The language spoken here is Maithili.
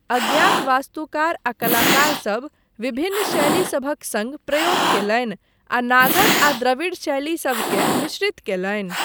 अज्ञात वास्तुकार आ कलाकार सब विभिन्न शैली सभक सङ्ग प्रयोग कयलनि, आ नागर आ द्रविड़ शैली सबकेँ मिश्रित कयलनि।